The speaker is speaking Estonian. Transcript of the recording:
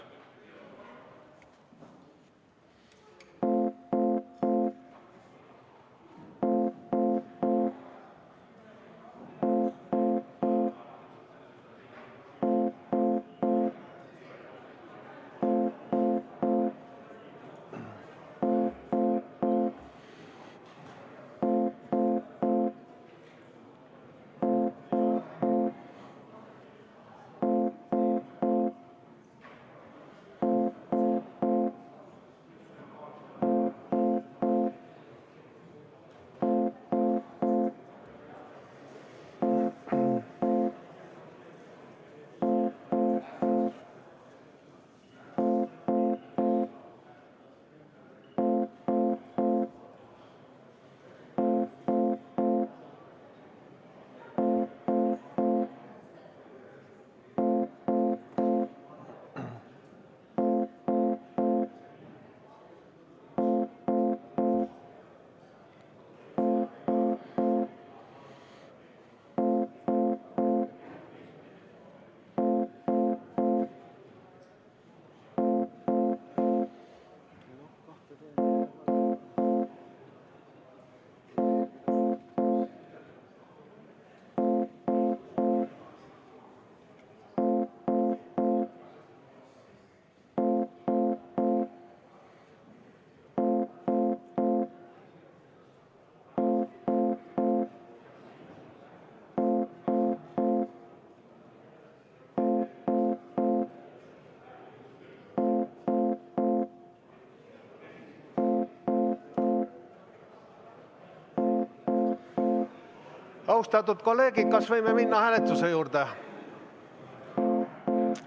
Austatud kolleegid, kas võime minna hääletuse juurde?